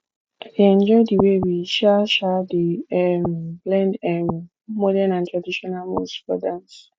i dey enjoy the way we um um dey um blend um modern and traditional moves for group dance